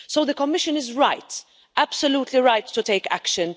So the Commission is right absolutely right to take action.